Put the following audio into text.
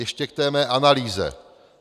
Ještě k té mé analýze.